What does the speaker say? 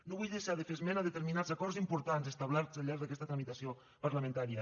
no vull deixar de fer esment de determinats acords importants establerts al llarg d’aquesta tramitació parlamentària